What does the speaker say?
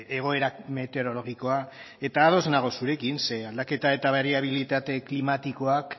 egoera meteorologikoa eta ados nago zurekin zeren aldaketa eta bariabilitate klimatikoak